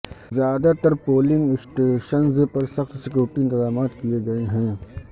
زیادہ تر polling stations پر سخت سکیورٹی انتظامات کیے گئے ہیں